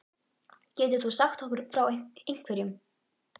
Getur þú sagt okkur frá einhverjum?